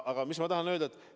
Aga mis ma tahan öelda?